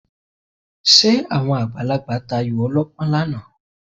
Ṣé àwọn àgbàlagbà tayò ọlọ́pọ́n lánàá?